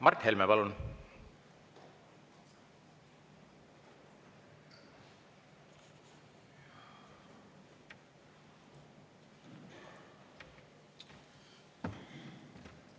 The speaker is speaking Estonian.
Mart Helme, palun!